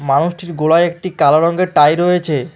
মানুষটির গলায় একটি কালো রংয়ের টাই রয়েছে।